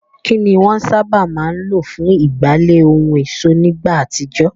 Kín ni wọ́n sábà máa ń lò fún ìgbálẹ̀ ohun ọ̀ṣọ́ nígbà àtijọ́?